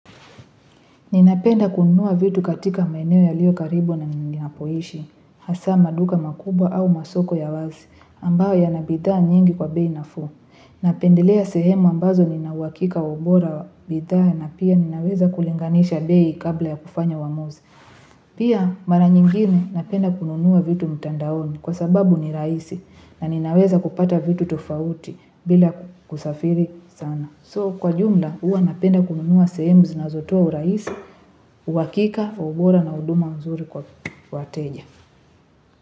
Ninapenda kununua vitu katika maeneo yalio karibu na ninapohishi, hasa maduka makubwa au masoko ya wazi, ambao ya nabitha nyingi kwa bei na fu. Napendelea sehemu ambazo ninawakika ubora wabitha na pia ninaweza kulinganisha bei kabla ya kufanya wamuzi. Pia mara nyingine napenda kununua vitu mtandaoni kwa sababu ni raisi na ninaweza kupata vitu tofauti bila kusafiri sana. So kwa jumla uwa napenda kununua sehemu zinazotua uraisi, uwakika, ubora na uduma mzuri kwa wateja.